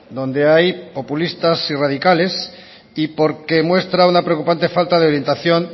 donde hay populistas y radicales y porque muestra una preocupante falta de orientación